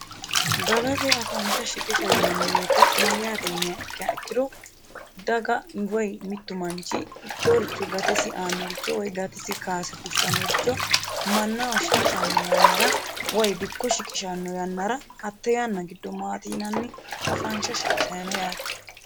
dagate afaansha shiqisha yinanni woyite mayyaate yiniha ikkea ikkiro dagawoy mittu manchi ikkehoricho gatesi aanoricho way gatesi kaase fushshannoricho mannaho shiqishanno yannara way dikko shiqishanno yannara hatte yanna giddo maatii'nanni afaansha shiqishano yaate